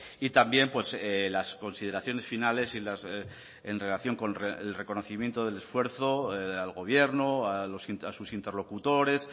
y también las consideraciones finales en relación con el reconocimiento del esfuerzo al gobierno a sus interlocutores